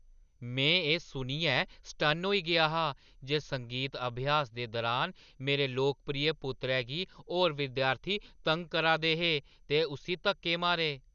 में एह्‌ सुनियै सटन्न होई गेआ हा जे संगीत अभ्यास दे दुरान मेरे लोकप्रिय पुत्तरै गी होर विद्यार्थी तंग करा दे हे ते उस्सी धक्के मारे ।